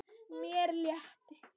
Mér létti.